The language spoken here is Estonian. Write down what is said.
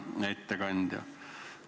Hea ettekandja!